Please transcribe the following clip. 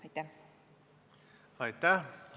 Aitäh!